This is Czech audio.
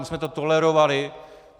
My jsme to tolerovali.